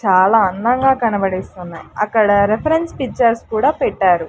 చాలా అందంగా కనబడేస్తున్నాయ్ అక్కడ రిఫరెన్స్ పిచ్చర్స్ కూడా పెట్టారు.